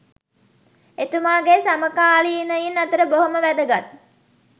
එතුමාගේ සමකාලීනයින් අතර බොහොම වැදගත්